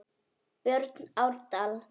Björn Árdal.